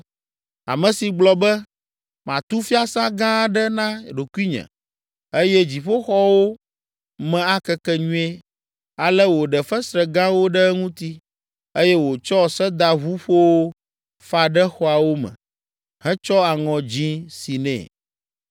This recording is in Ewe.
Ame si gblɔ be, ‘Matu fiasã gã aɖe na ɖokuinye eye dziƒoxɔwo me akeke nyuie.’ Ale wòɖe fesre gãwo ɖe eŋuti eye wòtsɔ sedaʋuƒowo fa ɖe xɔawo me, hetsɔ aŋɔ dzĩ si nɛ.